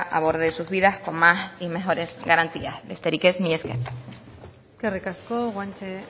aborde sus vidas con más y mejores garantías besterik ez mila esker eskerrik asko guanche